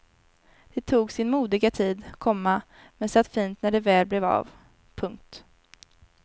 Det tog sin modiga tid, komma men satt fint när det väl blev av. punkt